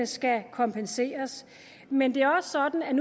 skal kompenseres men det er også sådan